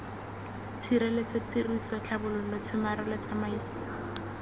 tshireletso tiriso tlhabololo tshomarelo tsamaiso